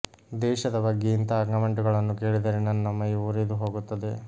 ದೇಶದ ಬಗ್ಗೆ ಇಂತಹ ಕಾಮೆಂಟುಗಳನ್ನು ಕೇಳಿದರೆ ನನ್ನ ಮೈ ಉರಿದು ಹೋಗುತ್ತದೆ